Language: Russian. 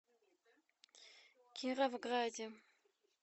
кировграде